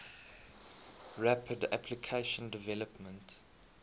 rapid application development